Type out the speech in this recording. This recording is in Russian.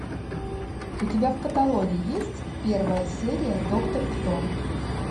у тебя в каталоге есть первая серия доктор кто